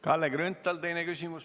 Kalle Grünthal, teine küsimus.